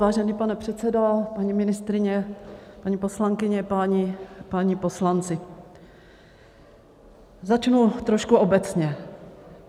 Vážený pane předsedo, paní ministryně, paní poslankyně, páni poslanci, začnu trošku obecně.